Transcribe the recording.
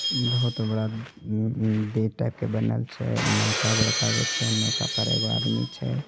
बहुत बड़ा gate type का बनेल छे नौका बड़कागो छे नौका पर एगो आदमी छे।